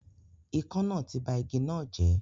Ikán náà ti ba igi náà jẹ́